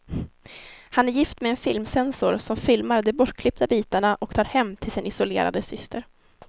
Han är gift med en filmcensor som filmar de bortklippta bitarna och tar hem till sin isolerade syster.